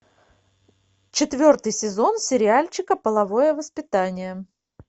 четвертый сезон сериальчика половое воспитание